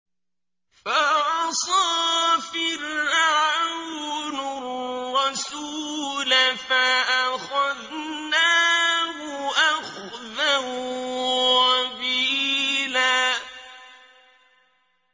فَعَصَىٰ فِرْعَوْنُ الرَّسُولَ فَأَخَذْنَاهُ أَخْذًا وَبِيلًا